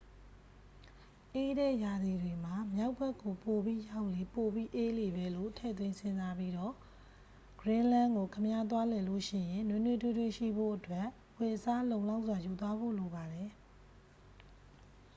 အေးတဲ့ရာသီတွေမှာ မြောက်ဘက်ကို ပိုပြီးရောက်လေ ပိုပြီးအေးလေပဲလို့ ထည့်သွင်း စဉ်းစားပြီးတော့ ဂရင်းလန်းကို ခင်ဗျား သွားလည်လို့ရှိရင် နွေးနွေးထွေးထွေးရှိဖို့အတွက် အဝတ်အစား လုံလောက်စွာ ယူသွားဖို့လိုပါတယ်။